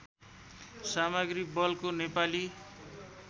सामग्री बलको नेपाली